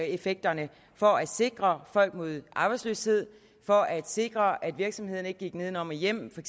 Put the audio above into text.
effekterne for at sikre folk mod arbejdsløshed for at sikre at virksomhederne ikke gik nedenom og hjem for